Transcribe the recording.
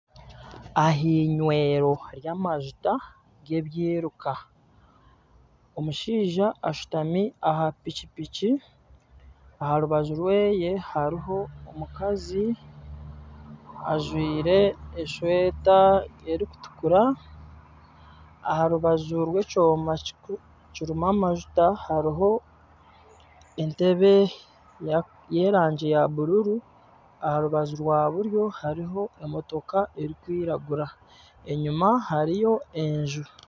Aha inywero ry'amajuta g'ebiruka omushaija ashutami aha piki piki. Aha rubaju rweye hariho omukazi ajwaire eshweta erikutukura. Aha rubaju rw'ekyoma kirimu amajuta hariho entebe y'erangi ya bururu. aha rubaju rwa buryo hariho emotoka erikwiragura. Enyima hariyo enju!